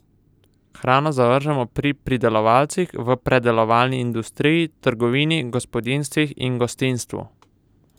Hrano zavržemo pri pridelovalcih, v predelovalni industriji, trgovini, gospodinjstvih in gostinstvu.